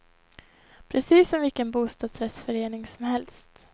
Precis som vilken bostadsrättsförening som helst.